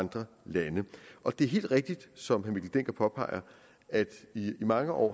andre lande og det er helt rigtigt som herre mikkel dencker påpeger at det i mange år